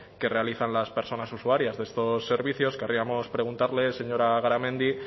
que realizan las personas usuarias de estos servicios querríamos preguntarle señora garamendi